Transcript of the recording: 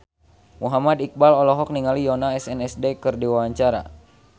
Muhammad Iqbal olohok ningali Yoona SNSD keur diwawancara